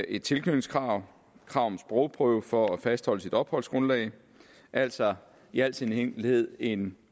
et tilknytningskrav og krav om sprogprøve for at fastholde sit opholdsgrundlag det er altså i al sin enkelhed en